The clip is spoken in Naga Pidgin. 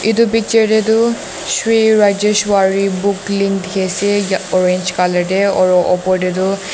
etu picture te tu sri rajeshwar book links dekhi ase orange colour te or opor te tu.